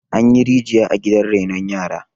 an yi rijiya a gidan renon yara